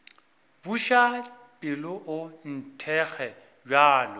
buša pelo o nthekge bjalo